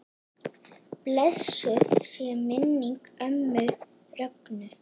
Blessuð sé minning ömmu Rögnu.